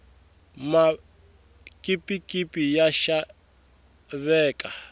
makipikipi ya xaveka